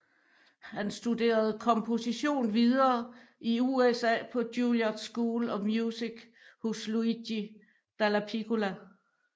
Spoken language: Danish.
Han studerede komposition videre i USA på Juilliard School of Music hos Luigi Dallapiccola